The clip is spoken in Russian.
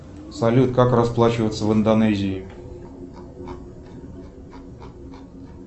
салют как расплачиваться в индонезии